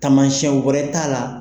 Tamasiyɛnw wɛrɛ t'a la.